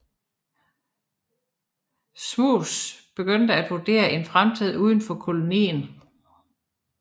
Smuts begyndte at vurdere en fremtid udenfor kolonien